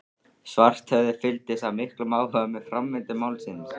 Svarthöfði fylgdist af miklum áhuga með framvindu málsins.